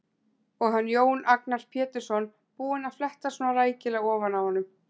Og hann, Jón Agnar Pétursson, búinn að fletta svona rækilega ofan af honum!